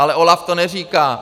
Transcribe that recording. Ale OLAF to neříká.